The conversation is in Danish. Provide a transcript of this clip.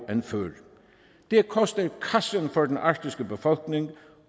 end før det koster kassen for den arktiske befolkning